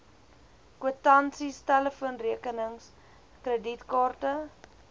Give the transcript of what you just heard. kwitansies telefoonrekenings kredietkaarte